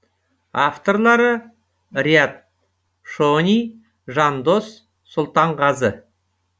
авторлары риат шони жандос сұлтанғазы